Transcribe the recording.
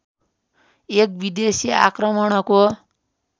एक विदेशी आक्रमणको